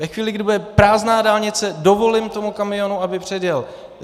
Ve chvíli, kdy bude prázdná dálnice, dovolím tomu kamionu, aby předjel.